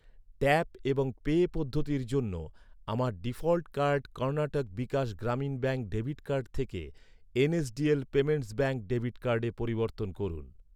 Tap এবং pay পদ্ধতির জন্য, আমার default card Karnataka Vikas Grameen bank debit card থেকে, এনএসডিএল পেমেন্টস ব্যাঙ্ক ডেবিট কার্ডে পরিবর্তন করুন।